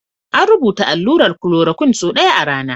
An rubuta allurar chloroquine sau ɗaya a rana.